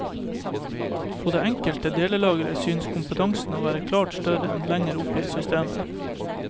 På det enkelte delelager synes kompetansen å være klart større enn lenger opp i systemet.